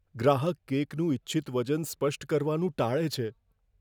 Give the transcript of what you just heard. ગ્રાહક કેકનું ઇચ્છિત વજન સ્પષ્ટ કરવાનું ટાળે છે.